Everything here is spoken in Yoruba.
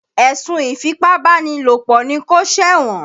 Èsùn ìfípábánilòpọ̀ ni kó ṣẹ̀wọ̀n.